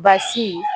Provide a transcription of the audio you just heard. Baasi